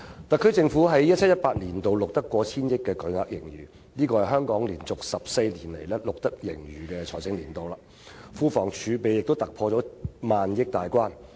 特區政府在 2017-2018 年度錄得過千億元的巨額盈餘，是香港連續14個錄得盈餘的財政年度，庫房儲備亦突破萬億元大關。